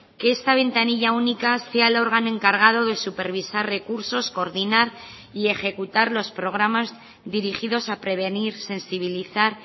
que esta ventanilla única sea el órgano encargado de supervisar recursos coordinar y ejecutar los programas dirigidos a prevenir sensibilizar